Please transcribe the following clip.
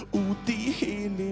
úti í